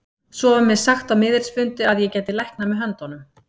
Svo var mér sagt á miðilsfundi að ég gæti læknað með höndunum.